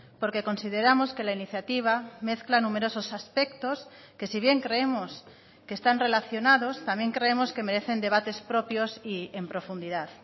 porque consideramos que la iniciativa mezcla numerosos aspectos que si bien creemos que están relacionados también creemos que merecen debates propios y en profundidad